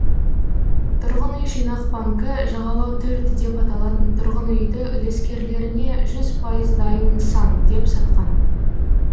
тұрғын үй жинақ банкі жағалау төрт деп аталатын тұрғын үйді үлескерлеріне жүз пайыз дайын нысан деп сатқан